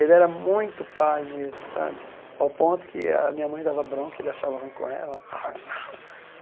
Ele era muito pai mesmo sabe, ao ponto que a minha mãe dava bronca, ele achava ruim com ela. (rosnado)